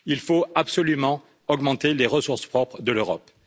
Il faut absolument augmenter les ressources propres de l'Europe.